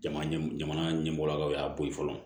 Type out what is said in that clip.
Jamana ɲɛmaa ɲɛmɔgɔ y'a bɔ ye fɔlɔ